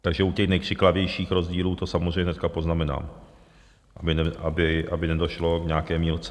Takže u těch nejkřiklavějších rozdílů to samozřejmě dneska poznamenám, aby nedošlo k nějaké mýlce.